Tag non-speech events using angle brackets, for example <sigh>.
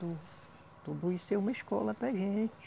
<unintelligible> Tudo isso é uma escola para a gente.